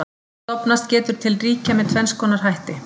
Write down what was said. Stofnast getur til ríkja með tvenns konar hætti.